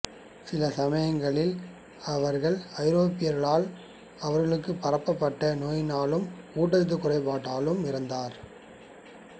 சில சமயங்களில் அவர்கள் ஐரோப்பியர்களால் அவர்களுக்குப் பரப்பப்பட்ட நோயினாலும் ஊட்டச்சத்துக் குறைவாலும் இறந்தனர்